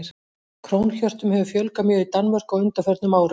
Krónhjörtum hefur fjölgað mjög í Danmörku á undanförnum árum.